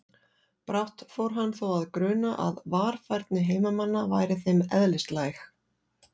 Brátt fór hann þó að gruna að varfærni heimamanna væri þeim eðlislæg.